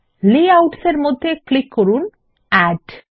layouts -এর মধ্যে click করুন এড